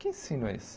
Que ensino é esse?